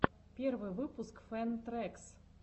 первый выпуск фэн трэкс